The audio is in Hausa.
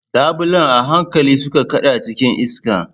Labulen a hankali suka kada cikin iska.